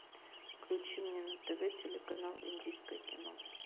включи мне на тв телеканал индийское кино